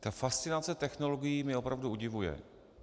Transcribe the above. Ta fascinace technologií mě opravdu udivuje.